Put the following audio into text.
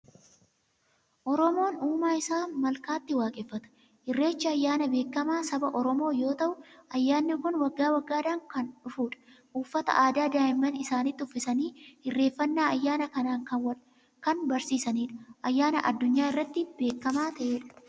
Oromoon uumaa isaa malkaatti waaqeffata. Irreechi ayyaana beekamaa saba Oromoo yoo ta'u, ayyaanni kun waggaa waggaadhaan kan dhufudha. Uffata aadaa daa'imman isaaniitti uffisanii irreeffannaa ayyaana kanaa kan barsiisanidha. Ayyaana addunyaa irratti beekamaa ta'edha.